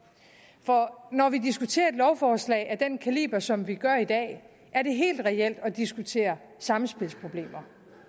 for når vi diskuterer et lovforslag af den kaliber som vi gør i dag er det helt reelt at diskutere samspilsproblemer